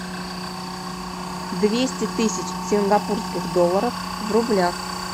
двести тысяч сингапурских долларов в рублях